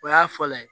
O y'a fɔlɔ ye